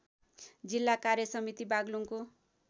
जिल्ला कार्यसमिति बागलुङको